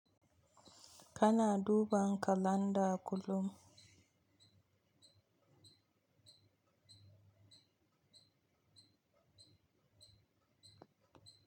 Kana duba kalanda kullum?